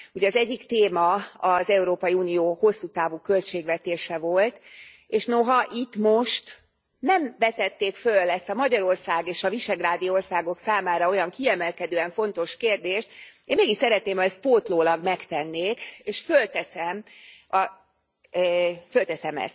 Az egyik téma az Európai Unió hosszú távú költségvetése volt, és noha itt most nem vetették föl ezt a Magyarország és a visegrádi országok számára olyan kiemelkedően fontos kérdést, én mégis szeretném, ha ezt pótlólag megtennék, és fölteszem ezt.